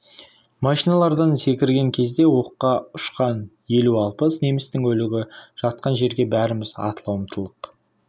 машиналардан секірген кезде оққа ұшқан елу-алпыс немістің өлігі жатқан жерге бәріміз атыла ұмтылдық